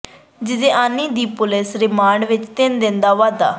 ਜਿਜੇਆਣੀ ਦੇ police remand ਵਿੱਚ ਤਿੰਨ ਦਿਨ ਦਾ ਵਾਧਾ